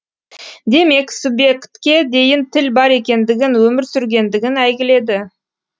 демек субъектке дейін тіл бар екендігін өмір сүргендігін әйгіледі